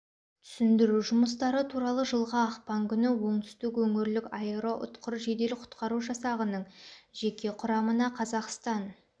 түсіндіру жұмыстары туралы жылғы ақпан күні оңтүстік өңірлік аэроұтқыр жедел құтқару жасағының жеке құрамына қазақстан